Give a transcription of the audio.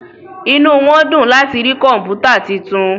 Mo ranti nigbati mo igbegasoke fún faanu oniduro yẹn fún išẹ ṣiṣe to dara sí